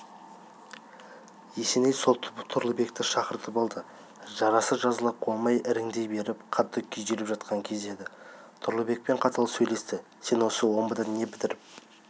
есеней сол тұрлыбекті шақыртып алды жарасы жазыла қоймай іріңдей беріп қатты күйзеліп жатқан кезі еді тұрлыбекпен қатал сөйлесті сен осы омбыда не бітіріп